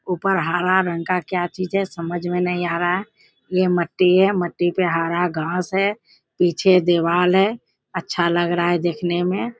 ऊपर हरा रंग का क्या चीज है समझ में नहीं आ रहा है। ये मट्टी है मट्टी पे हरा घास है। पीछे देवाल है अच्छा लग रह है देखने में।